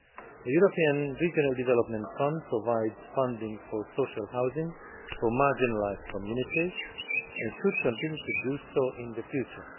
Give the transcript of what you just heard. The European Regional Development Fund provides funding for social housing for marginalised communities, and should continue to do so in the future.